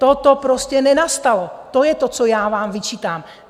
Toto prostě nenastalo, to je to, co já vám vyčítám.